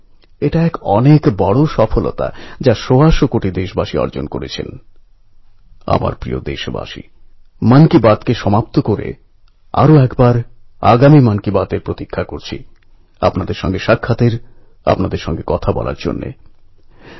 আমি আপনাদের সকলের ভালো স্বাস্থ্যের জন্য দেশভক্তির প্রেরণা জাগানো এই আগষ্ট মাসের জন্য এবং শতবর্ষ ধরে চলে আসা অনেক অনেক উৎসবের জন্য অনেক অনেক শুভেচ্ছা জানাচ্ছি